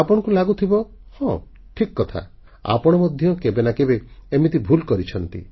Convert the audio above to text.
ଆପଣଙ୍କୁ ଲାଗୁଥିବ ହଁ ଠିକ୍ କଥା ଆପଣ ମଧ୍ୟ କେବେ ନା କେବେ ଏମିତି ଭୁଲ କରିଛନ୍ତି